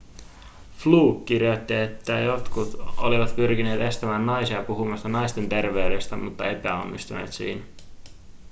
fluke kirjoitti että jotkut olivat pyrkineet estämään naisia puhumasta naisten terveydestä mutta epäonnistuneet siinä